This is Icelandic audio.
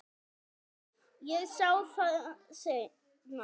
Ég sá það seinna.